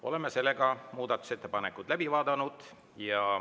Oleme muudatusettepanekud läbi vaadanud.